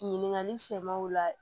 Ɲininkali sɛmɛnw la